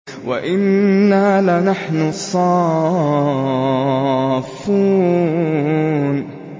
وَإِنَّا لَنَحْنُ الصَّافُّونَ